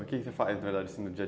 O que você faz no dia a?